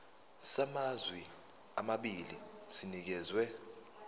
samazwe amabili sinikezwa